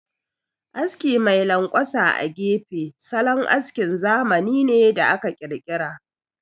Aski mai lanƙwasa a gefe, salon askin zamani ne da aka ƙirƙira.